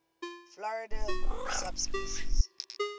florida subspecies